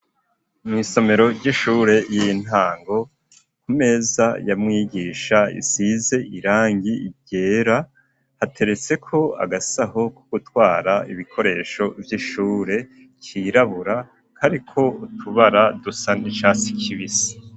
Mw'isomero ry'ishure y'intango, ku meza ya mwigisha isize irangi ryera, hateretseko agasaho ko gutwara ibikoresho vy'ishure, kirabura, kariko utubara dusa n'icatsi kibisi.